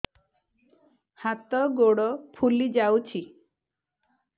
ହାତ ଗୋଡ଼ ଫୁଲି ଯାଉଛି